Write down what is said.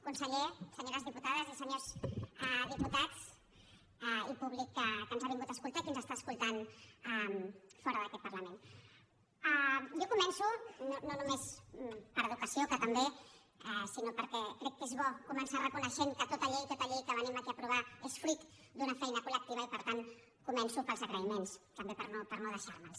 conseller senyores diputades i senyors diputats i públic que ens ha vingut a escoltar i que ens està escoltant fora d’aquest parlament jo començo no només per educació que també sinó perquè crec que és bo començar reconeixent que tota llei que venim aquí a aprovar és fruit d’una feina col·lectiva i per tant començo pels agraïments també per no deixar me’ls